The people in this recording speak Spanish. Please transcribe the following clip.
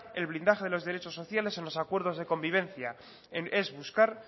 el blindaje de los derechos sociales en los acuerdos de convivencia es buscar